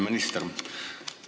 Hea minister!